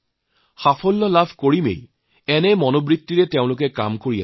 তেওঁলোকে উপযুক্ত ফল নোপোৱালৈ কাম চলাই যোৱাৰ মন স্থিৰ কৰিছে